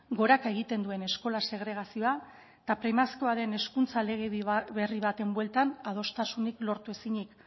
goraka egiten duen eskola segregazioa eta premiazkoa den hezkuntza legedi berri baten bueltan adostasunik lortu ezinik